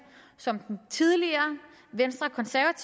som den tidligere